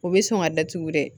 O bɛ sɔn ka datugu dɛ